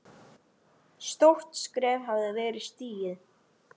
Stórt skref hafði verið stigið.